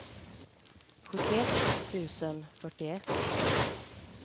sjuttioett tusen fyrtioett